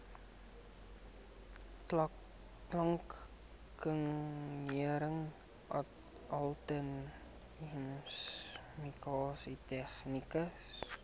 klankingenieur ateljeemusikant tegnikus